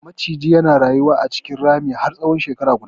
Macijin ya rayu a cikin ramin har tsahon shekara guda.